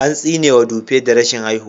An tsinewa Dupe da rashin haihuwa.